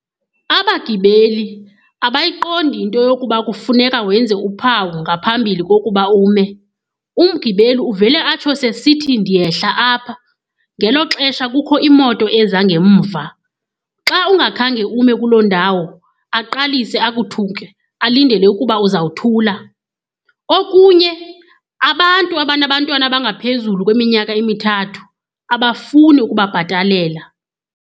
Abageli abayiqondi into yokuba kufuneka wenze uphawu ngaphambili kokuba ume. Umgibeli uvele atsho sesithi ndiyehla apha ngelo xesha kukho imoto ezangemva. Xa ungakhange ume kuloo ndawo aqalise akuthuke alindele ukuba uzawuthula okunye abantu abanabantwana abangaphezulu kweminyaka emithathu abafuni ukubabhatalela.